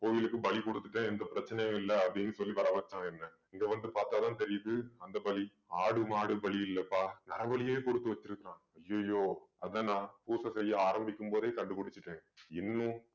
கோயிலுக்கு பலி கொடுத்துட்டு எந்த பிரச்சனையும் இல்ல அப்படின்னு சொல்லி வர வச்சான் என்ன இங்க வந்து பார்த்தாதான் தெரியுது அந்த பலி ஆடு மாடு பலியில்லப்பா நரபலியே கொடுத்து வச்சிருக்கான் ஐயையோ அதான் நான் பூச செய்ய ஆரம்பிக்கும்போதே கண்டுபிடிச்சிட்டேன் இன்னும்